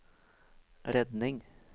redning